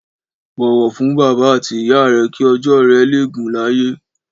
Bọwọ fún bàbá àtí ìyá rẹ ki ọjọ rẹ lẹ gún làyé